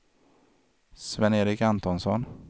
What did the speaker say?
Sven-Erik Antonsson